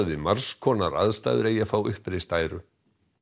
við margs konar aðstæður eigi að fá uppreist æru